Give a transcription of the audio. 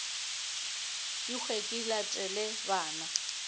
ke hwe ke latele bana